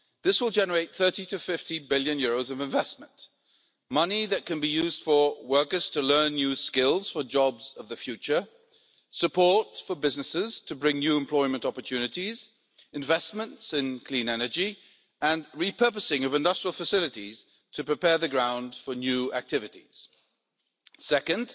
This will generate EUR 30 to 50 billion of investment money that can be used for workers to learn new skills for jobs of the future, support for businesses to bring new employment opportunities, investments in clean energy and repurposing of industrial facilities to prepare the ground for new activities. Second,